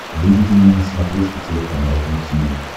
выведи мне на смотрешке телеканал ру ти ви